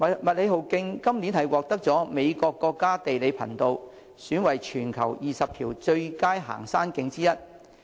麥理浩徑今年獲美國國家地理頻道選為全球20條最佳行山徑之一。